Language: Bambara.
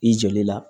I joli la